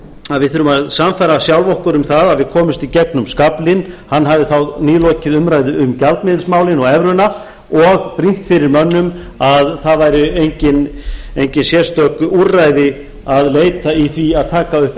að við þurfum að sannfæra sjálf okkur um það að við komumst í gegnum skaflinn hann hafði þá nýlokið umræðu um gjaldmiðilsmálin og evruna og brýnt fyrir mönnum að það væri engin sérstök úrræði að leita í því að taka